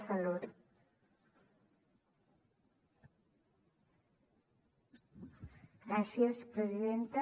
gràcies presidenta